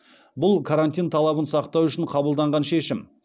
бұл карантин талабын сақтау үшін қабылданған шешім